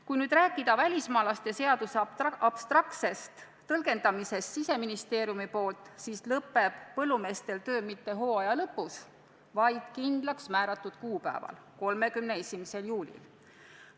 Kui rääkida välismaalaste seaduse abstraktsest tõlgendamisest, nagu Siseministeerium on teinud, siis ei lõpe põllumeestel töö mitte hooaja lõpus, vaid kindlaksmääratud kuupäeval, 31. juulil.